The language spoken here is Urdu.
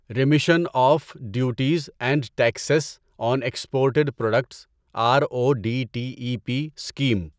remission of duties and taxes on exported products R O D T E P scheme